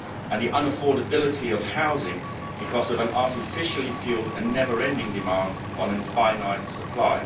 and the unaffordability of housing because of an artificially fuelled and never ending demand on a finite supply.